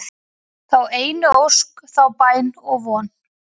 þá einu ósk, þá bæn og von